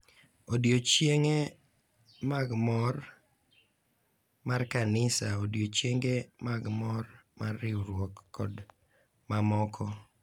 Odiochienge mag mor mar kanisa, odiochienge mag mor mar riwruok, kod mamoko.